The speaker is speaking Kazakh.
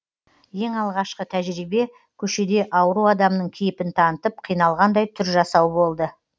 ең алғашқы тәжірибе көшеде ауру адамның кейіпін танытып қиналғандай түр жасау болды